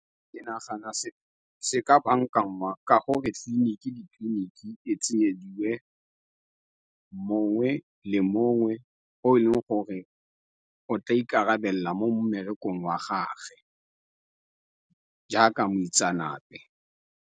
Ke nagana se ka bankangwa ka gore tleliniki, ditleliniki e tsenyediwe mongwe le mongwe, o e leng gore o tla ikarabelela mo mmerekong wa gage jaaka moitseanape.